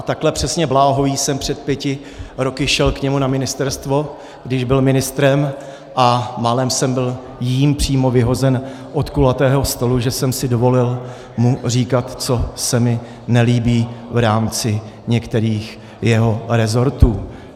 A takhle přesně bláhový jsem před pěti roky šel k němu na ministerstvo, když byl ministrem, a málem jsem byl jím přímo vyhozen od kulatého stolu, že jsem si dovolil mu říkat, co se mi nelíbí v rámci některých jeho resortů.